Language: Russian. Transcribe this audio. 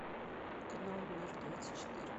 канал мир двадцать четыре